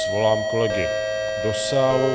Svolám kolegy do sálu.